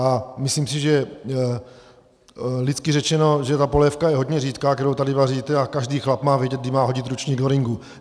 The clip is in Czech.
A myslím si, že lidsky řečeno, že ta polévka je hodně řídká, kterou tady vaříte, a každý chlap má vědět, kdy má hodit ručník do ringu.